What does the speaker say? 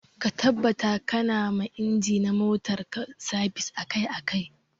Ka tabbata ƙana ma inji na motar ka sabis akai akai.